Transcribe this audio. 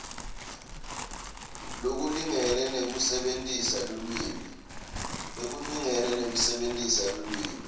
lokulingene nekusebentisa lulwimi